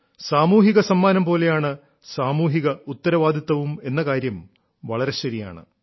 സാമൂഹിക സമ്മാനം പോലെയാണ് സാമൂഹിക ഉത്തരവാദിത്തവും എന്ന കാര്യം വളരെ ശരിയാണ്